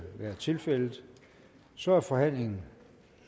være tilfældet så er forhandlingen